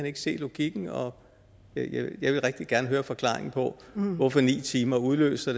ikke se logikken og jeg vil rigtig gerne høre forklaringen på hvorfor ni timer udløser